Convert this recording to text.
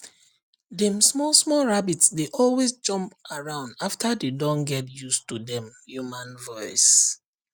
dem small small rabbit dey always jump around after dey don get use to dem human voice